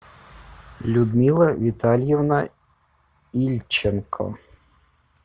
людмила витальевна ильченко